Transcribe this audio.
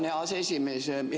Tänan, hea aseesimees!